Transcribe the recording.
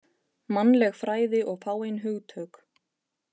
Mannleg fræði og fáein hugtök